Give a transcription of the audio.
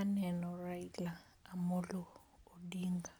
Aneno Raila Amolo Odinga